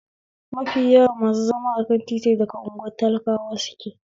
Mafi yawan masu zama akan titi daga unguwar talakawa suke